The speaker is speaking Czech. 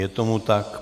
Je tomu tak.